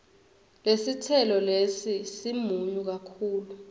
lesitselo lesi simunyu kakhulu